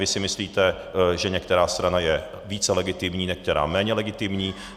Vy si myslíte, že některá strana je více legitimní, některá méně legitimní.